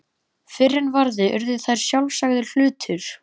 Fyrr en varði urðu þær sjálfsagður hlutur.